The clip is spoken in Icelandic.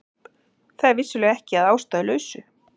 Það er vissulega ekki að ástæðulausu